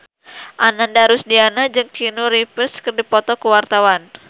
Ananda Rusdiana jeung Keanu Reeves keur dipoto ku wartawan